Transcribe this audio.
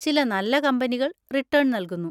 ചില നല്ല കമ്പനികൾ റിട്ടേൺ നൽകുന്നു.